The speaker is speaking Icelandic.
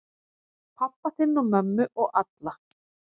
Pabba þinn og mömmu og alla.